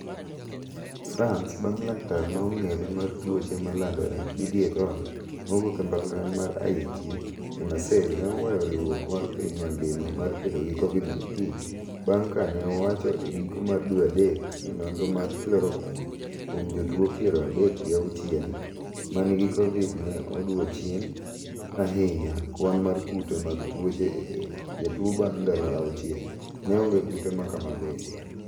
France bang' laktar ma ong'ere mar tuoche ma landore Didier Raoult mawuok e mbalariany mar IHU e Marseille ne oweyo riwruok mar piny mangima mar kedo gi Covid 19 bang' ka ne owacho e giko dwe mar adek ni nonro mar Chloroquine kuom jotuo piero adek gi auchiel ma nigi Covid ne odwoo chien ahinya kwan mar kute mag tuoche e del jatuo bang' ndalo auchiel, ne onge kute ma kamago e del.